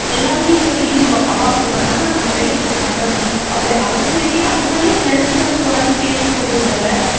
எல்லாருமே இப்ப ego அவன் அப்படி பண்ணான்னா, நம்ம பிள்ளைக்கு இப்படி பண்ணணும். அப்படி, அதுக்கு வேண்டி அதனாலேயே health வந்து குறைஞ்சிட்டேதான் போகுதே தவிர,